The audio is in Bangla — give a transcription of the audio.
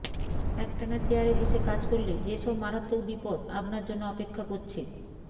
একটানা চেয়ারে বসে কাজ করলে যেসব মারাত্মক বিপদ আপনার জন্য অপেক্ষা করছে